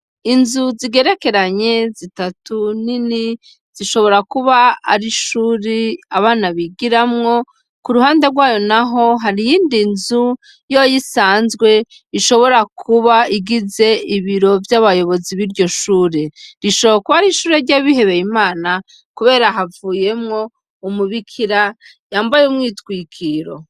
Inzu zigerekeranye zitatu nini, zishobora kuba ari ishure abana bigiramwo, kuruhande rwayo naho hari iyindi nzu yoyo isanzwe ishobora kuba igize ibiro vy'abayobozi biryo shure, rishobora kuba ari ishure ry'abihebeye IMANA, kubera havuyemwo umubikira yambaye umwitwikiro.